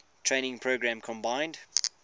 training program combined